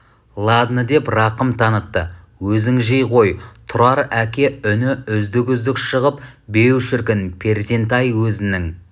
ладно деп рақым танытты өзің жей ғой тұрар әке үні үздік-үздік шығып беу шіркін перзент-ай өзінің